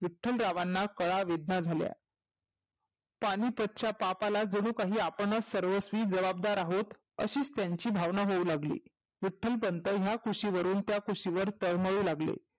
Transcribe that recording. विठ्ठलरावांना कळा वेदना झाल्या. पानीपतच्या पापाला जनू काही आपणचं सर्वस्वी जबाबदार आहोत अशीचं त्यांची भावना होऊ लागली. विठ्ठलपंत ह्या कुशीवरुण त्या कुशीवर तळमळू लागले.